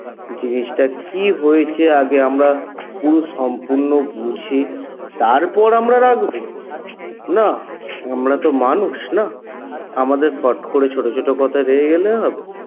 জিনিসটা কী হয়েছে আগে আমরা পুরো সম্পূর্ণ বুঝে তারপর আমরা রাগব না? আমরা তো মানুষ না? আমাদের ফট করে ছোট ছোট কথায় রেগে গেলে হবে?